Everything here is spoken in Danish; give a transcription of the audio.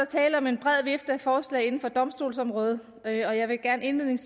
tale om en bred vifte af forslag inden for domstolsområdet og jeg vil gerne